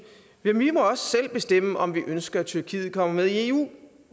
men vi må også selv bestemme om vi ønsker at tyrkiet kommer med i eu